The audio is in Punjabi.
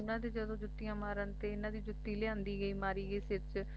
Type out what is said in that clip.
ਫੇਰ ਉਨ੍ਹਾਂ ਦੇ ਜਦੋਂ ਜੁੱਤੀਆਂ ਮਾਰਨ ਤੇ ਇਨ੍ਹਾਂ ਦੀ ਜੁੱਤੀ ਲਿਆਂਦੀ ਗਈ ਮਾਰੀ ਗਈ ਸਿਰ ਚ